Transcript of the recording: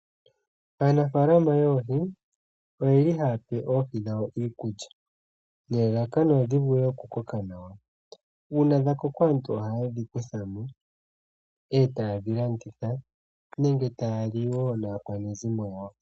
Aanafaalama yoohi oyeli haya pe oohi dhawo iikulya, nelalakano odhi vule okukoka nawa uuna dhakoko aantu ohaye dhi kutha mo etaye dhi landitha nenge taya li wo naakwanezimo yawo.